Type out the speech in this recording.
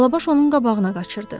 Alabaş onun qabağına qaçırdı.